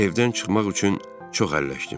Evdən çıxmaq üçün çox əlləşdim.